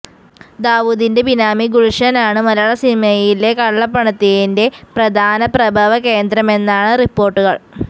ദാവൂദിന്റെ ബിനാമി ഗുൽഷനാണ് മലയാള സിനിമയിലെ കള്ളപ്പണത്തിന്റെ പ്രധാന പ്രഭവ കേന്ദ്രമെന്നാണ് റിപ്പോർട്ടുകൾ്